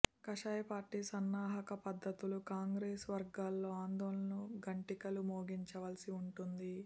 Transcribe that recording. కాషాయపార్టీ సన్నాహక పద్ధతులు కాంగెస్ వర్గాల్లో ఆందోళన ఘంటికలు మోగించవలసి వుండింది